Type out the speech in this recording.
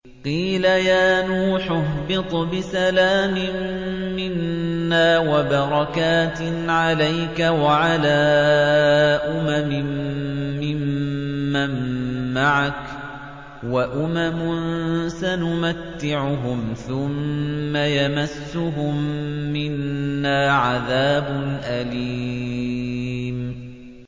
قِيلَ يَا نُوحُ اهْبِطْ بِسَلَامٍ مِّنَّا وَبَرَكَاتٍ عَلَيْكَ وَعَلَىٰ أُمَمٍ مِّمَّن مَّعَكَ ۚ وَأُمَمٌ سَنُمَتِّعُهُمْ ثُمَّ يَمَسُّهُم مِّنَّا عَذَابٌ أَلِيمٌ